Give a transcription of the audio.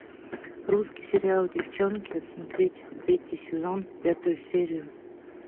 русский сериал девчонки смотреть третий сезон пятую серию